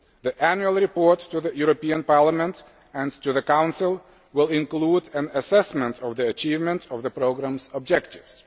The annual report to the European Parliament and to the Council will include an assessment of the achievement of the programme's objectives.